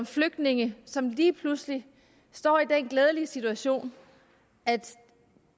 flygtninge som lige pludselig står i den glædelige situation at